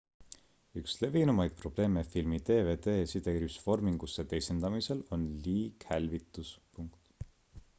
üks levinumaid probleeme filmi dvd-vormingusse teisendamisel on liighälvitus